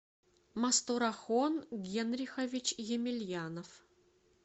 мастурахон генрихович емельянов